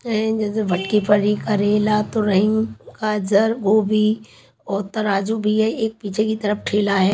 जैसे करेला तोरहीं गाजर गोभी और तराज़ू भी है एक पीछे की तरफ ठेला है।